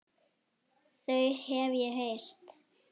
Þau hef ég heyrt.